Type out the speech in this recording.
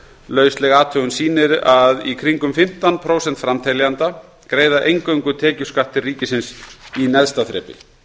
lausleg athugun sýnir að í kringum fimmtán prósent framteljenda greiða eingöngu tekjuskatt til ríkisins í neðsta þrepi